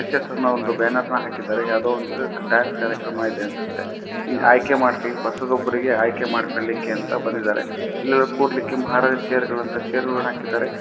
ಶಾಸನ ಒಂದು ಬ್ಯಾನರ್ ಹಾಕಿದ್ದಾರೆ. ಯಾವುದೋ ಒಂದು ಕಾರ್ಯಕ್ರಮ ಇದೆ ಅನ್ಸುತ್ತೆ ಆಯ್ಕೆ ಮಾಡು ಬರಿಗೆ ಆಯ್ಕೆ ಮಾಡಲಿಕ್ಕೆ ಅಂತ ಬಂದಿದ್ದಾರೆ. ಇನ್ನು ಕೊಡಲಿಕ್ಕೆ ಮಹಾರಾಜಾ ಚೇರ್ಗಳು ಅಂತ ಚೇರ್ಗಳು ಅಕಿಧಾರೆ